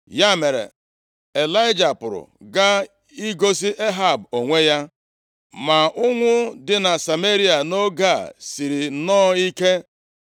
Ya mere, Ịlaịja pụrụ gaa igosi Ehab onwe ya. Ma ụnwụ dị na Sameria nʼoge a siri nnọọ ike.